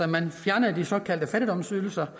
man fjernede de såkaldte fattigdomsydelser